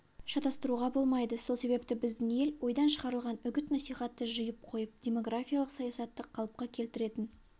шатастыруға болмайды сол себепті біздің ел ойдан шығарылған үгіт-насихатты жиып қойып демографиялық саясатты қалыпқа келтіретін